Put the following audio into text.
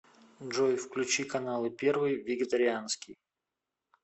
джой включи каналы первый вегетарианский